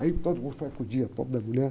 Aí todo mundo foi acudir, a pobre mulher.